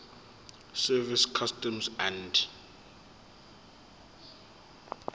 service customs and